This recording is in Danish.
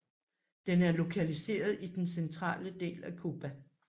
Den er lokaliseret i den centrale del af Cuba